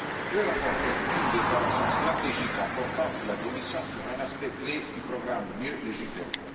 Le rapport constitue une déclaration stratégique importante de la Commission sur un aspect clé du programme Mieux légiférer.